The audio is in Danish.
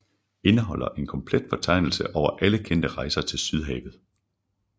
Indeholder en komplet fortegnelse over alle kendte rejser til Sydhavet